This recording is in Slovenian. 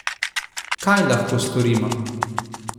Kaj lahko storimo?